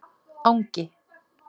Angi